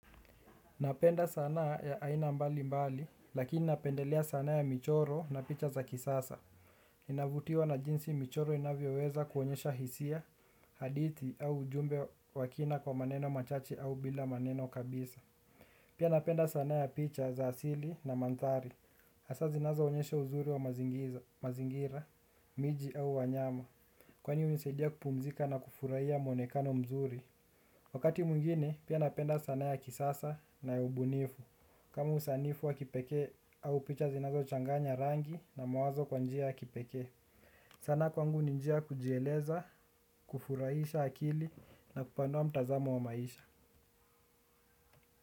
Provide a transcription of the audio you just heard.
Napenda sanaa ya aina mbali mbali, lakini napendelea sanaa ya michoro na picha za kisasa. Inavutiwa na jinsi michoro inavyoweza kuonyesha hisia, hadithi au ujumbe wa kina kwa maneno machache au bila maneno kabisa. Pia napenda sanaa ya picha za asili na manthari. Hasa zinazo onyesha uzuri wa mazingira, miji au wanyama. Kwani hunisaidia kupumzika na kufurahia mwonekano mzuri. Wakati mwingine, pia napenda sanaa ya kisasa na ya ubunifu. Kama usanifu wa kipekee au picha zinazo changanya rangi na mawazo kwa njia ya kipeke sanaa kwangu ni njia ya kujieleza, kufurahisha akili na kupanua mtazamo wa maisha.